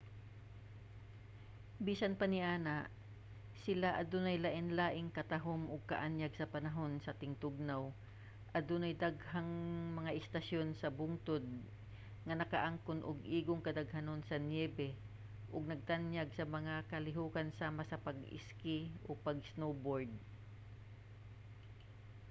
bisan pa niana sila adunay lain-laing katahum ug kaanyag sa panahon sa tingtugnaw adunay daghang mga istasyon sa bungtod nga nakaangkon og igong gidaghanon sa niyebe ug nagtanyag sa mga kalihokan sama sa pag-iski ug pag-snowboard